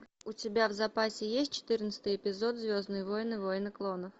у тебя в запасе есть четырнадцатый эпизод звездные войны войны клонов